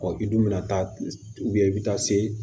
i dun bɛna taa i bɛ taa se